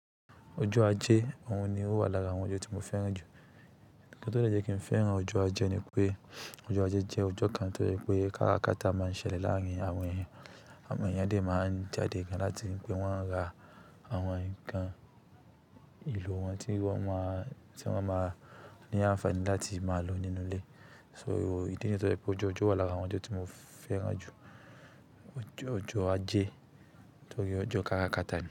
Ojó ajé, òun ni ó wà lára àwọn ọjọ́ tí mo fẹ́ràn jù. Nkan tó jẹ́ kí n fẹ́ràn ọjọ́ ajé ni pé ọjọ́ ajé jẹ́ ọjọ́ kan tó jẹ́ pé karakata máa ń ṣẹlẹ̀ láàrin àwọn ènìyàn. Àwọn èeyàn dé máa ń jáde gan láti pé wọ́n ra àwọn ǹkan ìlò wọn tí wọ́n máa, tí wọ́n máa ní àǹfààní láti máa lò nínú ilé. So ìdí niyen tó jẹ́ pé ọjọ́ wà lára àwọn ọjọ́ tí mo fẹ́ràn jù, ọjọ́ ajé tó rí ọjọ́ karakata ni.